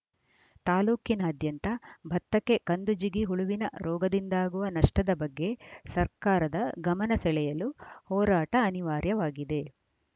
ತಾಲೂಕಿನಾದ್ಯಂತ ಭತ್ತಕ್ಕೆ ಕಂದು ಜಿಗಿ ಹುಳುವಿನ ರೋಗದಿಂದಾಗಿರುವ ನಷ್ಟದ ಬಗ್ಗೆ ಸರ್ಕಾರದ ಗಮನ ಸೆಳೆಯಲು ಹೋರಾಟ ಅನಿವಾರ್ಯವಾಗಿದೆ